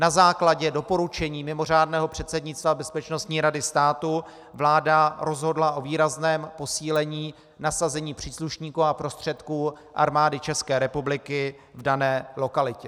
Na základě doporučení mimořádného předsednictva Bezpečností rady státu vláda rozhodla o výrazném posílení nasazení příslušníků a prostředků Armády České republiky v dané lokalitě.